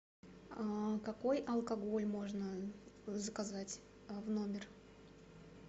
а какой алкоголь можно заказать в номер